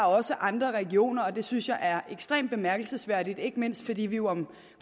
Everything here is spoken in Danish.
også andre regioner og det synes jeg er ekstremt bemærkelsesværdigt ikke mindst fordi vi jo om